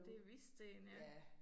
Det Hvidsten ja